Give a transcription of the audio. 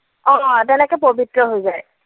অ তেনেকৈ পৱিত্ৰ হৈ যায়।